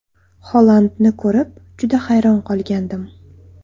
Holandni ko‘rib, juda hayron qolgandim.